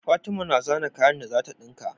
Fatima na zana kayan da zata dinka